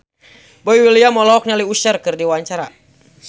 Boy William olohok ningali Usher keur diwawancara